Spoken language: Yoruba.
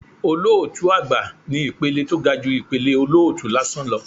Olótùú àgbà ni ìpele tó ga ju ìpele olótùú lásán lọ